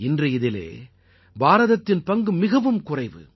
இன்று இதிலே பாரதத்தின் பங்கு மிகவும் குறைவு